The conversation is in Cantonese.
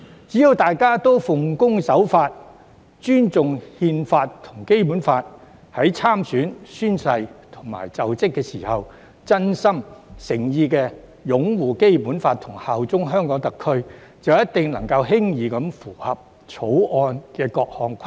只要大家奉公守法，尊重憲法和《基本法》，在參選、宣誓及就職時真心、誠意地擁護《基本法》和效忠香港特區，必定能夠輕易符合《條例草案》的各項規定。